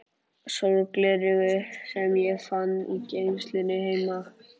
sólgleraugu sem ég fann í geymslunni heima.